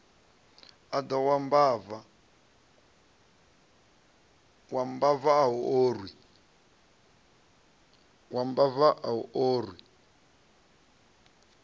wa mbava a u orwi